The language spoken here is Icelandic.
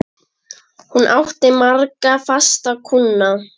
Hún átti marga fasta kúnna.